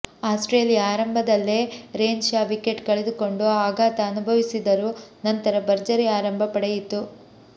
Australia ಆರಂಭದಲ್ಲೇ Renshaw wicket ಕಳೆದುಕೊಂಡು ಆಘಾತ ಅನುಭವಿಸಿದರೂ ನಂತರ ಭರ್ಜರಿ ಆರಂಭ ಪಡೆಯಿತು